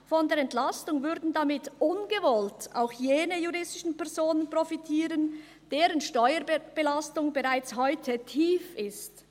Von der Entlastung würden damit ungewollt auch jene juristischen Personen profitieren, deren Steuerbelastung bereits heute tief ist.